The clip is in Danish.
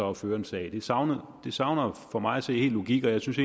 at føre en sag det savner savner for mig at se helt logik og jeg synes